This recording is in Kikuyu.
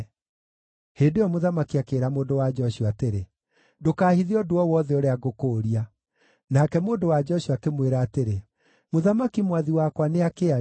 Hĩndĩ ĩyo mũthamaki akĩĩra mũndũ-wa-nja ũcio atĩrĩ, “Ndũkaahithe ũndũ o wothe ũrĩa ngũkũũria.” Nake mũndũ-wa-nja ũcio akĩmwĩra atĩrĩ, “Mũthamaki mwathi wakwa nĩakĩarie.”